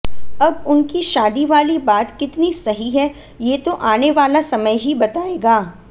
अब उनकी शादी वाली बात कितनी सही है ये तो आने वाला समय ही बताएगा